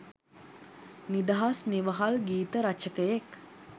නිදහස් නිවහල් ගීත රචකයෙක්